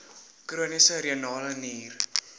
chroniese renale nier